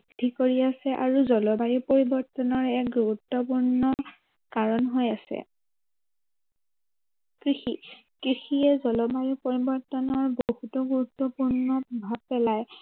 কৰি আছে আৰু জলবায়ু পৰিৱৰ্তনৰ এক গুৰুত্বপূৰ্ণ কাৰণ হৈ আছে। কৃষি, কৃষিয়ে জলবায়ু পৰিৱৰ্তনৰ বহুতো গুৰুত্বপূৰ্ণ প্ৰভাৱ পেলায়।